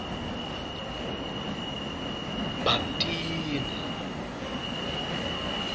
bhaptini